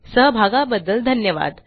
सहभागाबद्दल धन्यवाद